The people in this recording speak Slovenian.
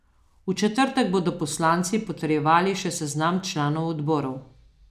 V četrtek bodo poslanci potrjevali še seznam članov odborov.